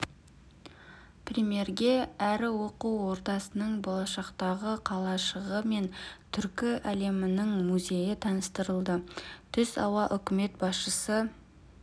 премьерге әрі оқу ордасының болашақтағы қалашығы мен түркі әлемінің музейі таныстырылды түс ауа үкімет басшысы